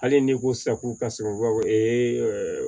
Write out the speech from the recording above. Hali n'i ko safu kasɔrɔ